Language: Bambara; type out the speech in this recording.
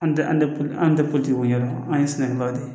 An tɛ an tɛ an tɛ politiw ɲɛ an ye sɛnɛkɛlaw de